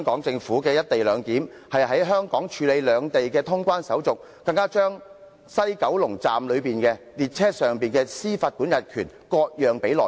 政府現時的"一地兩檢"方案，是在香港處理兩地的通關手續，更把西九龍站列車上的司法管轄權割讓予內地。